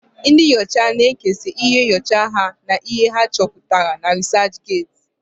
Ndị nyocha na-ekesa íhé nyocha ha na íhé ha chọputara na rịsachget.